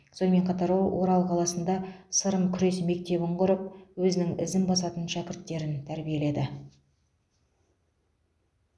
сонымен қатар ол орал қаласында сырым күрес мектебін құрып өзінің ізін басатын шәкірттерін тәрбиеледі